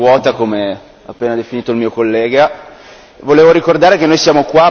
Mi rattrista parlare a un'Aula così vuota, come ha appena definito il mio collega.